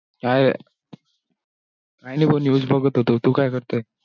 काय, काय नाही भो news बघत होतो, तू काय करतोय?